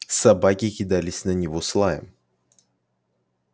собаки кидались на него с лаем